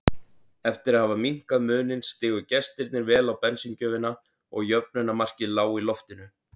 Eftir að hafa minnkað muninn stigu gestirnir vel á bensíngjöfina og jöfnunarmarkið lá í loftinu.